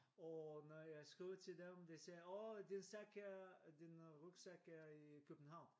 Og når jeg skriver til dem de sagde åh din sæk er din rygsæk er i København